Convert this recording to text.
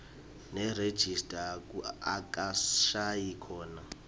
nerejista akushayi khona